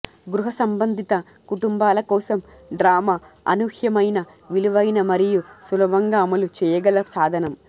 గృహసంబంధిత కుటుంబాల కోసం డ్రామా అనూహ్యమైన విలువైన మరియు సులభంగా అమలు చేయగల సాధనం